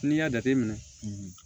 N'i y'a jateminɛ